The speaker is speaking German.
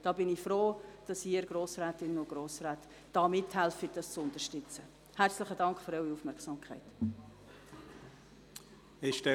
Ich bin froh, dass Sie mithelfen, diesen Anlass zu unterstützen.